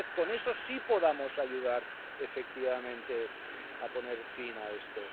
Tal vez, con eso sí podamos ayudar efectivamente a poner fin a esto.